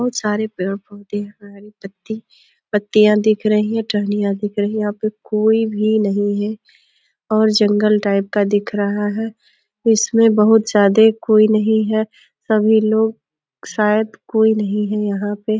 बहोत सारे पेड़-पौधे और हरी पत्तियाँ दिख रही हैं। टहनियां दिख रही हैं। यहाँ पे कोई भी नहीं है और जंगल टाइप का दिख रहा है। उसमें बहोत ज्यादा कोई नहीं है। सभी लोग शायद कोई नहीं यहाँ पे ।